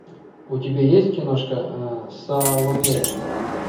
у тебя есть киношка саломея